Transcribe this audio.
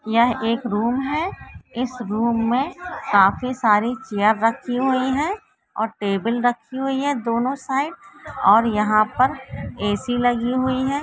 यह एक रूम है इस रूम में काफी सारी चेयर रखी हुई है और टेबल रखी हुई है दोनों साइड और यहा पर ए.सी लगी हुई है।